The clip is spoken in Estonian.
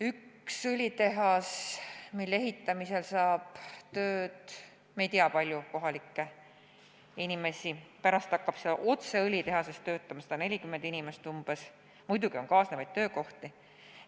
Ühe õlitehase ehitamisel saavad tööd paljud kohalikud inimesed – me ei tea, kui palju –, pärast hakkab otse õlitehases töötama umbes 140 inimest, muidugi on ka kaasnevaid töökohti.